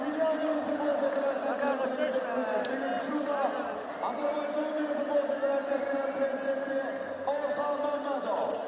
Qonaqları salamlamaq üçün səhnəyə Azərbaycan Futbol Federasiyaları Assosiasiyasının prezidenti Rövşən Məmmədovu dəvət edirik.